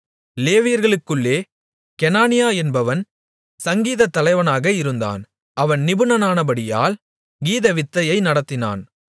லேவியர்களுக்குள்ளே கெனானியா என்பவன் சங்கீதத்தலைவனாக இருந்தான் அவன் நிபுணனானபடியால் கீதவித்தையை நடத்தினான்